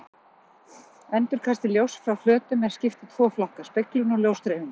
Endurkasti ljóss frá flötum er skipt í tvo flokka: speglun og ljósdreifingu.